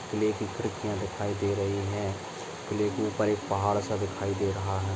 किले खिड़किआ दिखाई दे रही है किले के ऊपर एक पहाड़ स दिखाई दे रहा है।